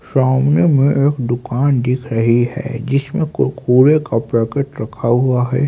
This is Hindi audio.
सामने में एक दुकान दिख रही है जिसमें कुरकुरे का पैकेट रखा हुआ है।